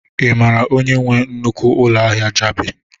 Ị mara onye nwe nnukwu ụlọ ahịa Jabi?